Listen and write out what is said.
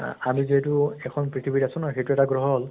আহ আমি যিহেতু এখন পৃথিৱীত আছো নহয়, সেইটো এটা গ্ৰহ হʼল ।